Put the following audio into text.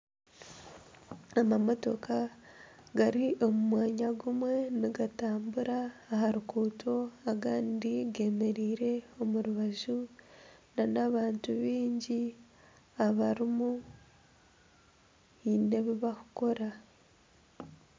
Amamotooka gari omu mwanya gumwe nigatambura aha ruguuto agandi gemereire omu rubaju nana abantu baingi abarimu biine ebibakukora.